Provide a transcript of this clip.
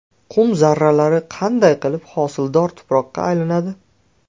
Qum zarralari qanday qilib hosildor tuproqqa aylanadi?.